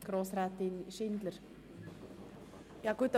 Das Wort geht an Grossrätin Schindler, SP.